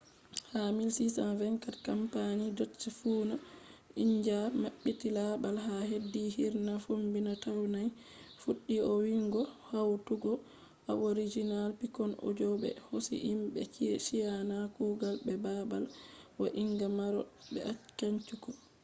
ha 1624 kampani dutch fuuna india mabbiti babal ha hedi hirna fombina taiwan fuddi vo’ingo hautugo aboriginal pikkon audi bo be hosi himbe china kugal be babal vo’inga maro be cantu